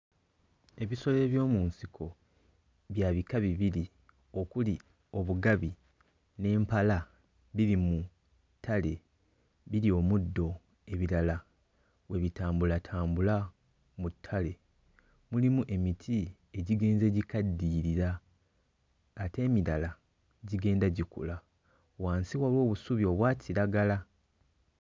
Ebisolo eby'omu nsiko bya bika bibiri okuli obugabi n'empala biri mu ttale birya omuddo ebirala we bitambulatambula mu ttale, mulimu emiti egigenze gikaddiyirira ate emirala gigenda gikula, wansi waliwo obusubi obwa kiragala.